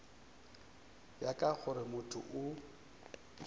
ya ka gore motho o